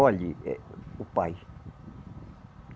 Olhe, eh o pai.